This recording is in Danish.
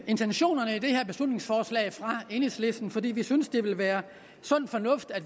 intentionerne i beslutningsforslaget fra enhedslisten fordi vi synes at det ville være sund fornuft at